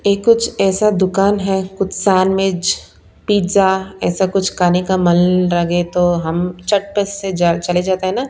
ये कुछ ऐसा दुकान है कुछ सांडविज पिज़्ज़ा ऐसा कुछ खाने का मन लगे तो हम चटपस से चले जाते हैं ना।